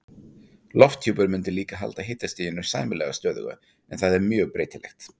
Lofthjúpur mundi líka halda hitastiginu sæmilega stöðugu en það er mjög breytilegt.